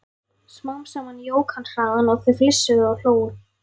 Smám saman jók hann hraðann og þau flissuðu og hlógu.